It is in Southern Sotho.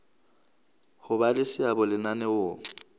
ho ba le seabo lenaneong